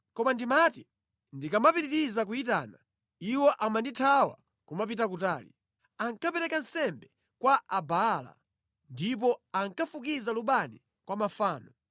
Koma ndimati ndikamapitiriza kuyitana iwo amandithawa kupita kutali. Ankapereka nsembe kwa Abaala ndipo ankafukiza lubani kwa mafano.